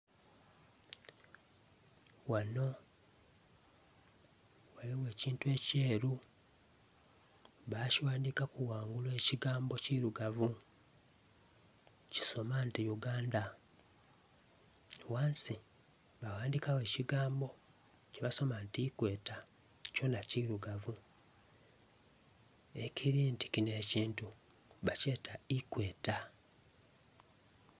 Ghano ghaligho ekintu ekyeru, bakighandikaku ghangulu ekigambo ekirugavu. Kisoma nti Uganda. Ghansi baghandikagho ekigambo kyebasoma nti Equator, kyona kirugavu. Ekiri nti kino ekintu bakyeta Equator.